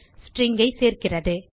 stringஐ சேர்க்கிறது